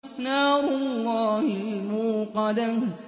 نَارُ اللَّهِ الْمُوقَدَةُ